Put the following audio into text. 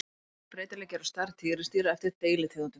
Mikill breytileiki er á stærð tígrisdýra eftir deilitegundum.